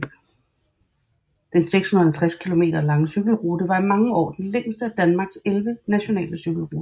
Den 650 km lange cykelrute var i mange år den længste af Danmarks 11 nationale cykelruter